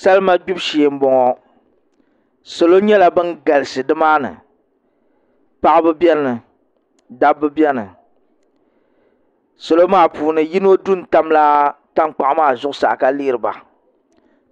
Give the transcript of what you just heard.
Salima gbibu shee n boŋo salo nyɛla bin galisi dimaani paɣaba biɛni ka dabba biɛni salo maa puuni yino du n tamla tankpaɣu maa zuɣusaa ka lihiriba